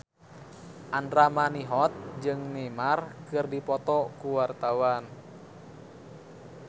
Andra Manihot jeung Neymar keur dipoto ku wartawan